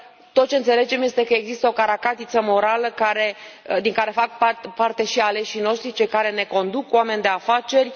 Tot ce înțelegem este că există o caracatiță morală din care fac parte și aleșii noștri, cei care ne conduc, oameni de afaceri.